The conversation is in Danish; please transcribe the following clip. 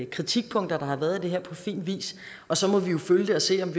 kritikpunkter der har været af det her på fin vis og så må vi jo følge det og se om